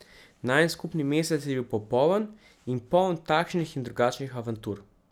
Najin skupni mesec je bil popoln in poln takšnih in drugačnih avantur.